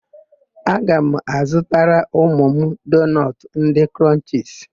Aga m azụtara ụmụ m doonọtụ ndị Krọnchisi.